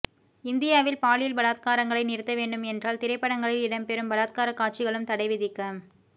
இந்தியாவில் பாலியல் பலாத்காரங்களை நிறுத்த வேண்டும் என்றால் திரைப்படங்களில் இடம் பெறும் பலாத்கார காட்சிகளுக்கு தடை விதிக்க